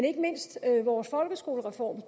ikke mindst vores folkeskolereform